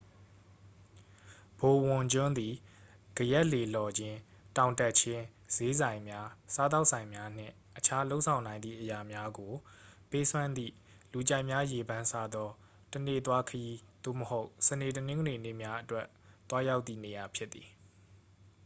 ဘိုဝန်ကျွန်းသည် ကယက်လှေလှော်ခြင်း တောင်တက်ခြင်း ဈေးဆိုင်များ စားသောက်ဆိုင်များနှင့် အခြားလုပ်ဆောင်နိုင်သည့်အရာများကို ပေးစွမ်းသည့် လူကြိုက်များရေပန်းစားသော တစ်နေ့သွားခရီး သို့မဟုတ် စနေ တနင်္ဂနွေနေ့များအတွက် သွားရောက်သည့်နေရာဖြစ်သည်